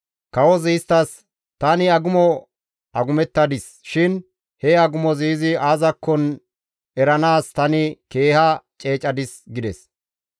Kawozi isttas, «Tani agumo agumettadis shin he agumozi izi aazakko eranaas tani keeha ceecadis» gides.